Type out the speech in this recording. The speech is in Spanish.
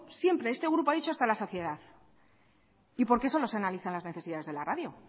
siempre este grupo ha dicho hasta la saciedad y por qué solo se analizan las necesidades de la radio